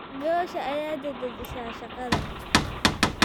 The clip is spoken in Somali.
Goosha ayaa dadajisa shaqada.